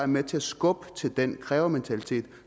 med til at skubbe til den krævementalitet